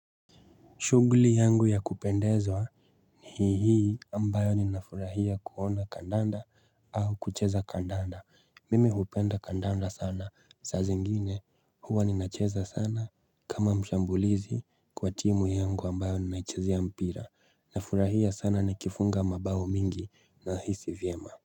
Shughuli yangu ya kupendezwa Hii hii ambayo ninafurahia kuona kandanda au kucheza kandanda mimi hupenda kandanda sana saa zingine huwa ninacheza sana kama mshambulizi kwa timu yangu ambayo ninaichezea mpira nafurahia sana nikifunga mabao mingi nahisi vyema.